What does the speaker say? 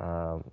ыыы